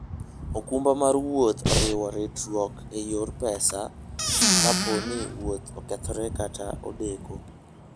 okumba mar wuoth oriwo ritruok e yor pesa kapo ni wuoth okethore kata odeko.